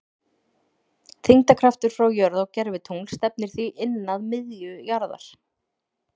Þyngdarkraftur frá jörð á gervitungl stefnir því inn að miðju jarðar.